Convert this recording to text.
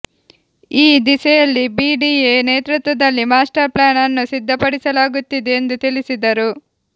ಈ ದಿಸೆಯಲ್ಲಿ ಬಿಡಿಎ ನೇತೃತ್ವದಲ್ಲಿ ಮಾಸ್ಟರ್ ಪ್ಲಾನ್ ಅನ್ನು ಸಿದ್ಧಪಡಿಸಲಾಗುತ್ತಿದೆ ಎಂದು ತಿಳಿಸಿದರು